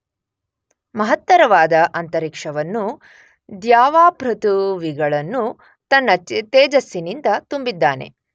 ಮಹತ್ತರವಾದ ಅಂತರಿಕ್ಷವನ್ನೂ ದ್ಯಾವಾಪೃಥುವಿಗಳನ್ನೂ ತನ್ನ ತೇಜಸ್ಸಿನಿಂದ ತುಂಬಿದ್ದಾನೆ.